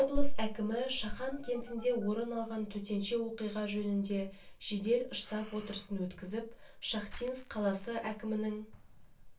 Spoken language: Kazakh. облыс әкімі шахан кентінде орын алған төтенше оқиға жөнінде жедел штаб отырысын өткізіп шахтинск қаласы әкімінің